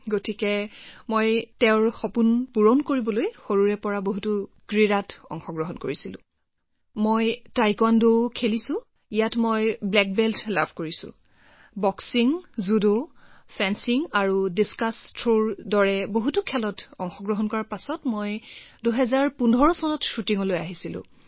গতিকে তেওঁৰ সপোন পূৰণ কৰিবলৈ মই সৰুৰে পৰা ক্ৰীড়াৰ প্ৰতি বহুত আগ্ৰহ প্ৰকাশ কৰিছিলো আৰু তাৰ পিছত মই টাইকোৱাণ্ডোও শিকিছো তাতো মই এজন ব্লেক বেল্ট আৰু বক্সিং জুডো আৰু ফেন্সিংৰ দৰে বহু খেল খেলাৰ পিছত আৰু থ্ৰৰ বিষয়ে আলোচনা কৰিলো মই মই শ্বুটিঙতো আছিলো